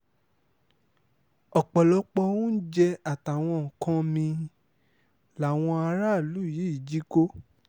ọ̀pọ̀lọpọ̀ oúnjẹ àtàwọn nǹkan mí-ín làwọn aráàlú yìí jí kó